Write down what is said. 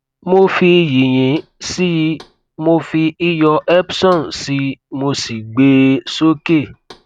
mo fi yìnyín sí i mo fi iyọ epson sí i mo sì gbé e sókè